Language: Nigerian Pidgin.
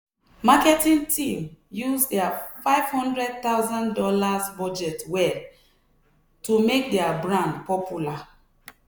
marketing team use their fifty thousand dollars0 budget well to make their brand popular.